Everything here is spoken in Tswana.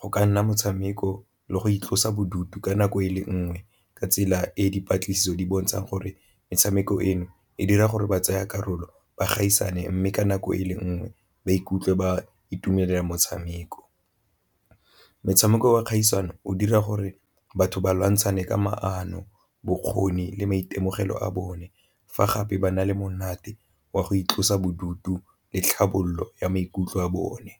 go ka nna motshameko le go itlosa bodutu ka nako e le nngwe ka tsela e dipatlisiso di bontshang gore metshameko eno e dira gore ba tsaya karolo ba gaisane, mme ka nako e le nngwe ba ikutlwe ba itumelela motshameko. Metshameko wa kgaisano o dira gore batho ba lwantshana ka maano, bokgoni le maitemogelo a bone fa gape ba na le monate wa go itlosa bodutu le tlhabololo ya maikutlo a bone.